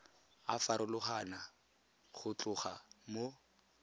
a farologana go tloga mo